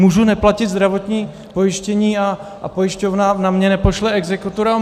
Můžu neplatit zdravotní pojištění a pojišťovna na mě nepošle exekutora?